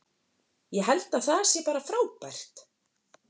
Ég held að það sé bara frábært.